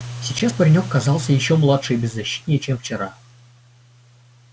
сейчас паренёк казался ещё младше и беззащитнее чем вчера